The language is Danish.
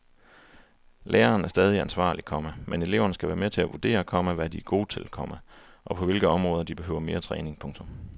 Læreren er stadig ansvarlig, komma men eleverne skal være med til at vurdere, komma hvad de er gode til, komma og på hvilke områder de behøver mere træning. punktum